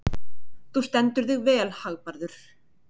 Þú stendur þig vel, Hagbarður!